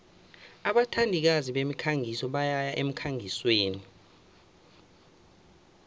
abathandikazi bemikhangiso bayaya emkhangisweni